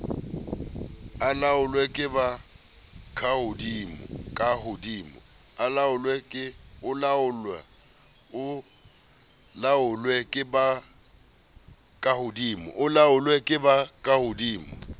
o laolwe ke ba kahodimo